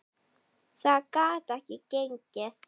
Það gat ekki gengið.